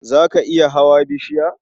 Za ka iya hawa bishiya?